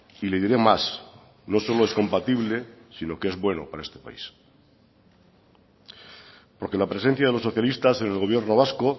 y le diré más no solo es compatible sino que es bueno para este país porque la presencia de los socialistas en el gobierno vasco